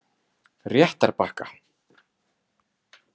Réttarbakka